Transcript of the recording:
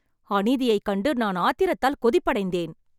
அநீதியைக் கண்டு நான் ஆத்திரத்தால் கொதிப்படைந்தேன்